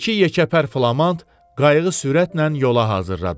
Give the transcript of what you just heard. İki yekəpər flamand qayığı sürətlə yola hazırladı.